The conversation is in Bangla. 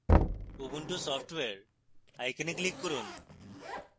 ubuntu software icon click করুন